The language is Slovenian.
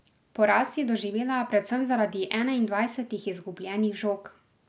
Poraz je doživela predvsem zaradi enaindvajsetih izgubljenih žog.